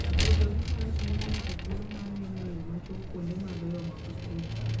Wuoth gi faras miyo ng'ato thuolo mar neno e yo machuok kuonde mabeyo mag thim.